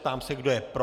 Ptám se, kdo je pro.